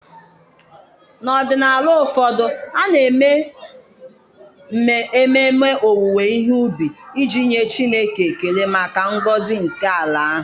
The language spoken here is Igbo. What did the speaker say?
N'ọdịnala ụfọdụ, a na-eme ememme owuwe ihe ubi iji nye Chineke ekele maka ngọzi nke ala ahụ.